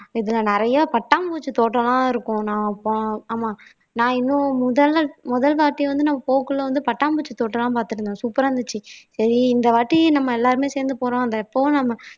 இதுல நிறைய பட்டாம்பூச்சி தோட்டம்லாம் இருக்கும் நான் போ ஆமா நான் இன்னும் முதல்ல முதல் வாட்டி வந்து நான் போகக்குள்ள வந்து பட்டாம்பூச்சி தோட்டமெல்லாம் பார்த்திருந்தேன் super ஆ இருந்துச்சு சரி இந்த வாட்டி நம்ம எல்லாருமே சேர்ந்து போறோம் இப்போ நம்ம